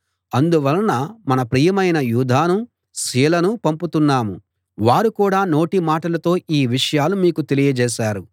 అందువలన మన ప్రియమైన యూదానూ సీలనూ పంపుతున్నాం వారు కూడా నోటిమాటతో ఈ విషయాలు మీకు తెలియజేస్తారు